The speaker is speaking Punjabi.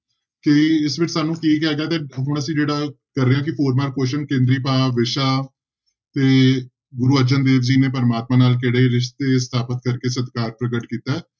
ਕਿ ਇਸ ਵਿੱਚ ਸਾਨੂੰ ਕੀ ਹੁਣ ਅਸੀਂ ਜਿਹੜਾ ਕਰ ਰਹੇ ਹਾਂ ਕਿ four mark question ਕੇਂਦਰੀ ਭਾਵ, ਵਿਸ਼ਾ ਤੇ ਗੁਰੂ ਅਰਜਨ ਦੇਵ ਜੀ ਨੇ ਪ੍ਰਮਾਤਮਾ ਨਾਲ ਕਿਹੜੇ ਰਿਸਤੇ ਸਥਾਪਿਤ ਕਰਕੇ ਸਤਿਕਾਰ ਪ੍ਰਗਟ ਕੀਤਾ ਹੈ,